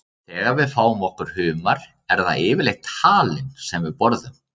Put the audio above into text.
Þegar við fáum okkur humar er það yfirleitt halinn sem við borðum.